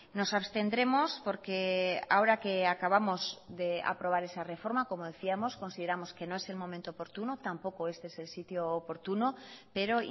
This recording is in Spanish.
nos abstendremos porque ahora que acabamos de aprobar esa reforma como decíamos consideramos que no es el momento oportuno tampoco este es el sitio oportuno pero